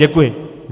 Děkuji.